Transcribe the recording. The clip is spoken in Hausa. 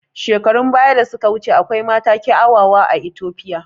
Shekarun baya da suka wuce akwai mata kiawawa a Itopia